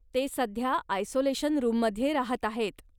ते सध्या आयसोलेशन रूममध्ये राहत आहेत.